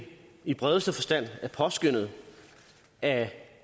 i bredeste forstand er påskønnet af